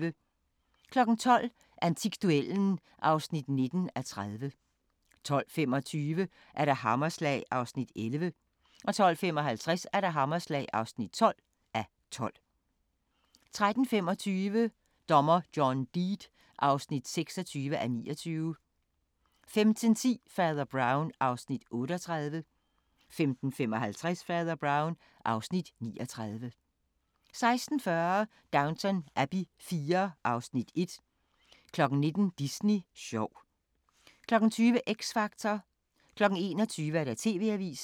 12:00: Antikduellen (19:30) 12:25: Hammerslag (11:12) 12:55: Hammerslag (12:12) 13:25: Dommer John Deed (26:29) 15:10: Fader Brown (Afs. 38) 15:55: Fader Brown (Afs. 39) 16:40: Downton Abbey IV (Afs. 1) 19:00: Disney sjov 20:00: X Factor 21:00: TV-avisen